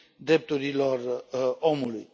drepturilor omului.